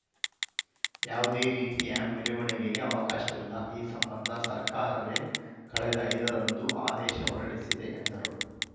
ಯಾವುದೇ ರೀತಿಯ ಮೆರವಣಿಗೆಗೆ ಅವಕಾಶವಿಲ್ಲ ಈ ಸಂಬಂಧ ಸರ್ಕಾರವೇ ಕಳೆದ ಐದರಂದು ಆದೇಶ ಹೊರಡಿಸಿದೆ ಎಂದರು